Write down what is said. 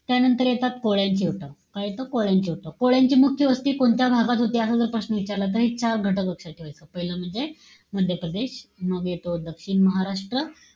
त्यानंतर येतात कोळ्यांचे उठाव. काय येतात? कोळ्यांचे उठाव. कोळ्यांची मुख्य वस्ती कोणत्या भागात होती? असा जर प्रश्न विचारला तर चार गोष्टी लक्षात ठेवायच्या. पाहिलं म्हणजे, मध्यप्रदेश. मग येतो दक्षिण महाराष्ट्र.